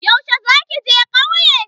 Yaushe za ki je kauye?